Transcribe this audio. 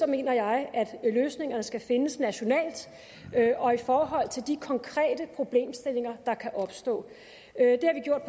mener jeg at løsningerne skal findes nationalt og i forhold til de konkrete problemstillinger der kan opstå